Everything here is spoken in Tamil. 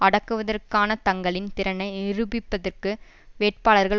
அடக்குவதற்கான தங்களின் திறனை நிரூபிப்பதற்கு வேட்பாளர்கள்